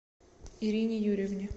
ирине юрьевне